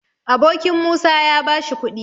Abokin Musa ya bashi kuɗi